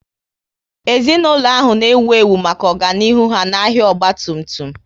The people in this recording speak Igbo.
Ezinaụlọ ahụ na ewu ewu maka ọganihu ha n'ahia ọgba tum tum